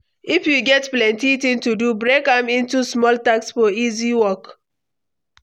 If you get plenty things to do, break am into small tasks for easy work.